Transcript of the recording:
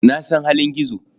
Na san halin Gizo.